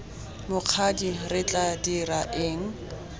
mokgadi re tla dira eng